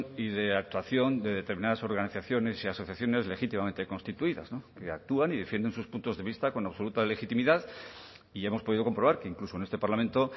y de actuación de determinadas organizaciones y asociaciones legítimamente constituidas actúan y defienden sus puntos de vista con absoluta legitimidad y hemos podido comprobar que incluso en este parlamento